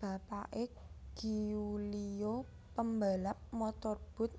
Bapake Giulio pembalap motorboat